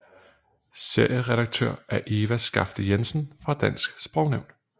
Serieredaktør er Eva Skafte Jensen fra Dansk Sprognævn